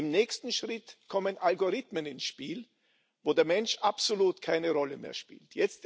Im nächsten Schritt kommen Algorithmen ins Spiel, wo der Mensch absolut keine Rolle mehr spielt.